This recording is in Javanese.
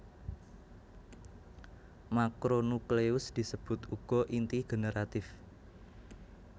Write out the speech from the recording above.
Makronukleus disebut uga inti generatif